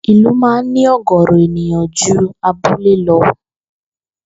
Ìlú máa ń ní ò̩gò̩ò̩rò̩ ènìyàn ju abúlé lo̩